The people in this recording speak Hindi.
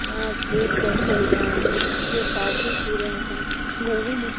यहाँ चल रहा है यहाँ कॉफ़ी पी रहे है कुछ लोगो ने--